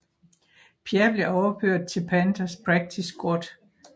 Pierre blev overført til Panthers practice squad